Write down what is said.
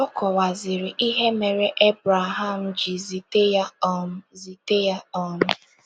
Ọ kọwaziri ihe mere Ebreham ji zite ya um zite ya um.